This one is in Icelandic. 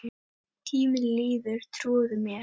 Tíminn líður, trúðu mér